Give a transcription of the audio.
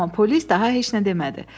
Amma polis daha heç nə demədi.